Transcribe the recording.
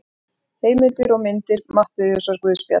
Heimildir og myndir Matteusarguðspjall.